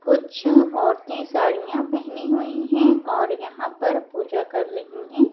कुछ औरतें साड़ियां पहनी हुई हैं और यहां पर पूजा कर रही हैं।